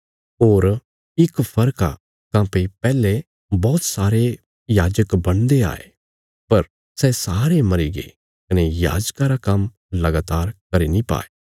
होर इक फर्क आ काँह्भई पैहले बौहत सारे याजक बणदे आये पर सै सारे मरीगे कने याजका रा काम्म लगातार करी नीं पाये